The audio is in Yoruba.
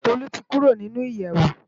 Tolu ti kùró ninú iyèwó